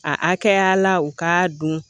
A hakɛya la u k'a dɔn